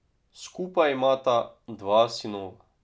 Skupaj imata dva sinova.